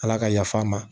Ala ka yafa' a ma